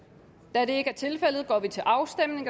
da det ikke er tilfældet går vi til afstemning